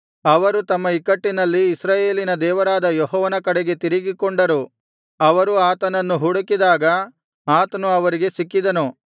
ಅವರು ತಮ್ಮ ಇಕ್ಕಟ್ಟಿನಲ್ಲಿ ಇಸ್ರಾಯೇಲಿನ ದೇವರಾದ ಯೆಹೋವನ ಕಡೆಗೆ ತಿರುಗಿಕೊಂಡರು ಅವರು ಆತನನ್ನು ಹುಡುಕಿದಾಗ ಆತನು ಅವರಿಗೆ ಸಿಕ್ಕಿದನು